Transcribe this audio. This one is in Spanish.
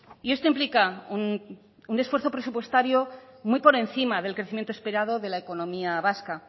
y esto implica un esfuerzo presupuestario muy por encima del crecimiento esperado de la economía vasca